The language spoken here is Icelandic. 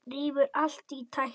Rífur allt í tætlur.